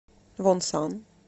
вонсан